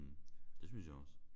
Det synes jeg også